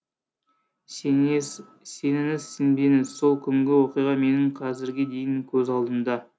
сеніңіз сенбеңіз сол күнгі оқиға менің қазірге дейін көз алдымда